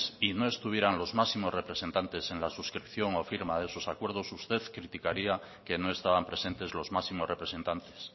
y no estuvieran los máximos representantes en la suscripción o firma de esos acuerdos usted criticaría que no estaban presentes los máximos representantes